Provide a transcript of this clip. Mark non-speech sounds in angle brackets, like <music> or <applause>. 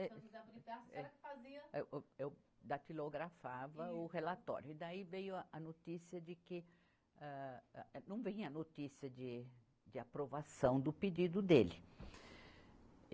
<unintelligible> A senhora que fazia. Eu, eu, eu datilografava o relatório e daí veio a notícia de que, âh, âh, não vinha notícia de, de aprovação do pedido dele.